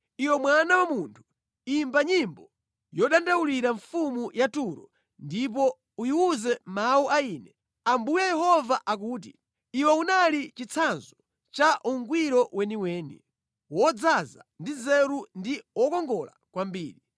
“Iwe mwana wa munthu, imba nyimbo yodandaulira mfumu ya Turo ndipo uyiwuze mawu a Ine Ambuye Yehova akuti, “ ‘Iwe unali chitsanzo cha ungwiro weniweni, wodzaza ndi nzeru ndi wokongola kwambiri.